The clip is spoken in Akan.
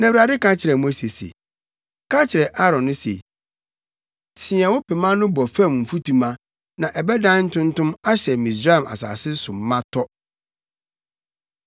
Na Awurade ka kyerɛɛ Mose se, “Ka kyerɛ Aaron se, ‘Teɛ wo pema no bɔ fam mfutuma na ɛbɛdan ntontom ahyɛ Misraim asase no so ma tɔ.’ ”